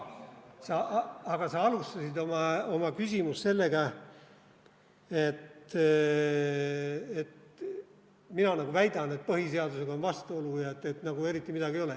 Aga sa alustasid oma küsimust sellega, et mina nagu väidan, et põhiseadusega on vastuolu, et tegelikult nagu eriti midagi ei ole.